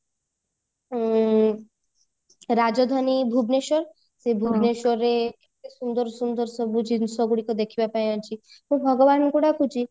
ଉଁ ରାଜଧାନୀ ଭୁବନେଶ୍ବର ସେ ଭୁବନେଶ୍ବରରେ କେତେ ସୁନ୍ଦର ସୁନ୍ଦର ସବୁ ଜିନିଷ ଗୁଡିକ ଦେଖିବା ପାଇଁ ଅଛି ମୁଁ ଭଗବାନଙ୍କୁ ଡାକୁଛି